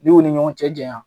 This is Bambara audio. N'i y'u ni ɲɔgɔn cɛ jaɲa